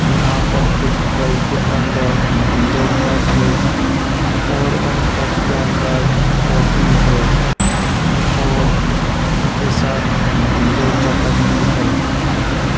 यहाँ पर एक ट्रे के अन्दर दो कप हैं और उन कप के अन्दर कॉफ़ी हैं और उनके साथ दो चम्मच भी हैं।